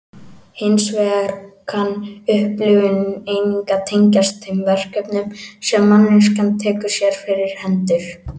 Hins vegar kann upplifunin einnig að tengjast þeim verkefnum sem manneskjan tekur sér fyrir hendur.